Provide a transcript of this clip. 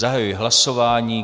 Zahajuji hlasování.